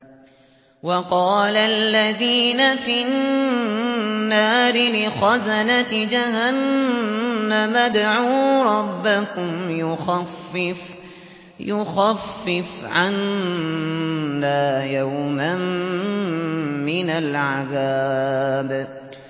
وَقَالَ الَّذِينَ فِي النَّارِ لِخَزَنَةِ جَهَنَّمَ ادْعُوا رَبَّكُمْ يُخَفِّفْ عَنَّا يَوْمًا مِّنَ الْعَذَابِ